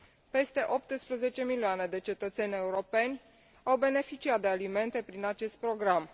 Peste 18 milioane de cetățeni europeni au beneficiat de alimente prin acest program.